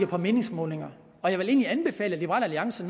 på meningsmålinger og jeg vil egentlig anbefale at liberal alliance